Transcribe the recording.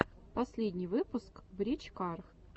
последний выпуск брич кар